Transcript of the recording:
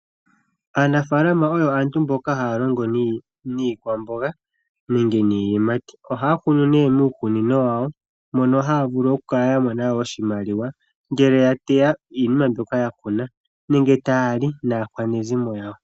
Aanafaalama oyo aantu mboka haya longo niikwamboga nenge niiyimati. Ohaya kunu miikunino yawo mono haya vulu okukala ya mona oshimaliwa ngele ya teya iinima mbyoka ya kuna nenge taya li naakwanezimo yawo.